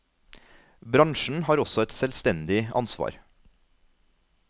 Bransjen har også et selvstendig ansvar.